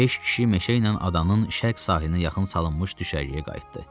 Beş kişi meşə ilə adanın şərq sahilinə yaxın salınmış düşərgəyə qayıtdı.